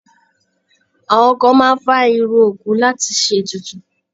Àwọn kan máa ń fá irun òkú láti ṣe ètùtù.